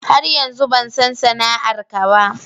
Har yanzu ban san sana'ar ka ba.